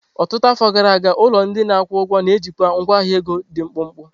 Ọtụtụ afọ gara aga, ụlọ ndị na-akwụ ụgwọ na-ejikwa ngwa ahịa ego dị mkpụmkpụ.